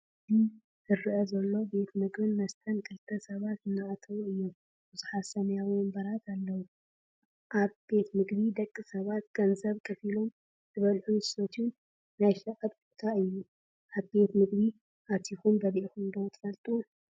እዚ ዝረአ ዘሎ ቤት ምግብን መስተን ክልተ ሰባት አናኣተው እዩም፡፡ ብዙሓት ሰማያዊ ወንበራት እውን ኣለውኣብ ቤት ምግቢ ደቂ ሰባት ገንዘብ ከፊሎም ዝበልዕሉን ዝሰትዩሉን ናይ ሸቐጥ ቦታ እዩ፡፡ ኣብ ቤት ምግቢ ኣቲኹም በሊዕኹም ዶ ትፈልጡ?